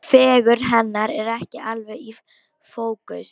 Fegurð hennar er ekki alveg í fókus.